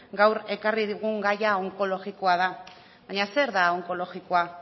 gaur ekarri dugun gaia onkologikoa da baina zer da onkologikoa